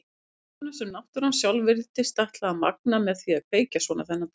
Birtuna sem náttúran sjálf virtist ætla að magna með því að kveikja svona þennan dag.